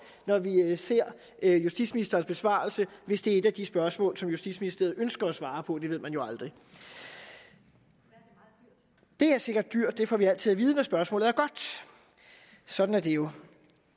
når vi ser justitsministerens besvarelse hvis det er et af de spørgsmål som justitsministeriet ønsker at svare på det ved man jo aldrig det er sikkert dyrt det får vi altid at vide men spørgsmålet er godt sådan er det jo